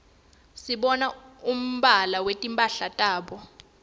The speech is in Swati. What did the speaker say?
sibona umbala wetimphala tabo